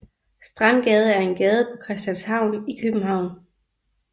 Strandgade er en gade på Christianshavn i København